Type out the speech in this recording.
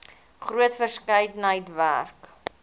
groot verskeidenheid werk